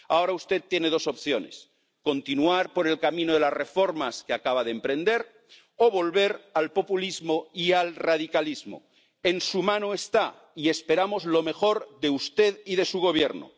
Ahora usted tiene dos opciones continuar por el camino de las reformas que acaba de emprender o volver al populismo y al radicalismo. En su mano está, y esperamos lo mejor de usted y de su Gobierno.